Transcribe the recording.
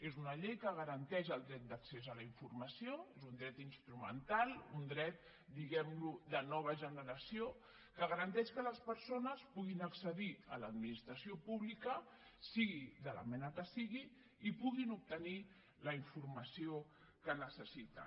és una llei que garanteix el dret d’accés a la informació és un dret instrumental un dret diguem ne de nova generació que garanteix que les persones puguin accedir a l’administració pública sigui de la mena que sigui i en puguin obtenir la informació que necessiten